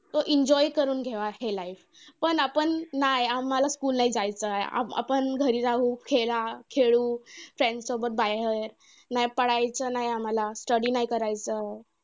तो enjoy करून घेवा हे life. पण आपण नाय आम्हांला school नाही जायचंय. आपण घरी राहू खेळा खेळू. Friends सोबत बाहेर नाही पडायचं नाही आम्हांला. study नाही करायचंय.